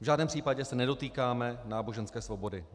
V žádném případě se nedotýkáme náboženské svobody.